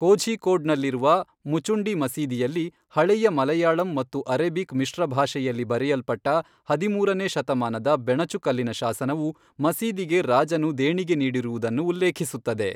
ಕೋಝಿಕೋಡ್ನಲ್ಲಿರುವ ಮುಚುಂಡಿ ಮಸೀದಿಯಲ್ಲಿ, ಹಳೆಯ ಮಲಯಾಳಂ ಮತ್ತು ಅರೇಬಿಕ್ ಮಿಶ್ರ ಭಾಷೆಯಲ್ಲಿ ಬರೆಯಲ್ಪಟ್ಟ ಹದಿಮೂರನೇ ಶತಮಾನದ ಬೆಣಚು ಕಲ್ಲಿನ ಶಾಸನವು, ಮಸೀದಿಗೆ ರಾಜನು ದೇಣಿಗೆ ನೀಡಿರುವುದನ್ನು ಉಲ್ಲೇಖಿಸುತ್ತದೆ.